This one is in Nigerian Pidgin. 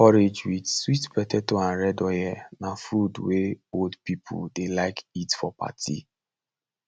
porridge with sweet potato and red oil na food wey old people dey like eat for party